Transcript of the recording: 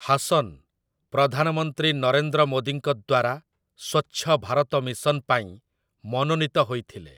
ହାସନ୍ ପ୍ରଧାନମନ୍ତ୍ରୀ ନରେନ୍ଦ୍ର ମୋଦୀଙ୍କ ଦ୍ୱାରା ସ୍ୱଚ୍ଛ ଭାରତ ମିଶନ ପାଇଁ ମନୋନୀତ ହୋଇଥିଲେ ।